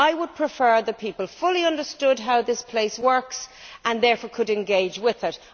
I would prefer that people fully understood how this place works and therefore could engage with it.